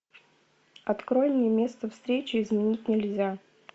открой мне место встречи изменить нельзя